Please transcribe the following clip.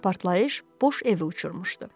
Partlayış boş evi uçurmuşdu.